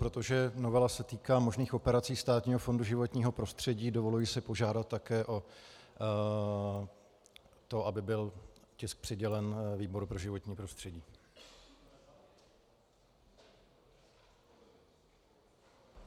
Protože novela se týká možných operací Státního fondu životního prostředí, dovoluji si požádat také o to, aby byl tisk přidělen výboru pro životní prostředí.